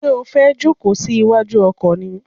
Ṣé o fẹ́ jòkó sí wájú ọkọ̀ ni?